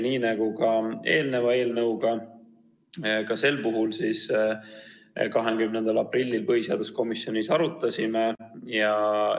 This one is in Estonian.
Nii nagu ka eelmist eelnõu, arutasime sedagi põhiseaduskomisjonis 20. aprillil.